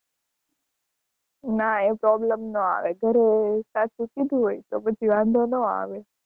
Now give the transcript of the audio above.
ના તો ભી તો પછી વાંધો ન આવે